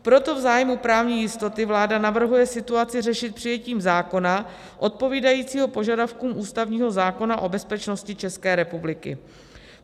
Proto v zájmu právní jistoty vláda navrhuje situaci řešit přijetím zákona odpovídajícího požadavkům ústavního zákona o bezpečnosti České republiky.